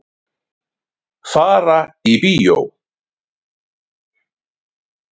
Fara í bíó.